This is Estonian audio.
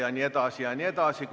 Jne, jne.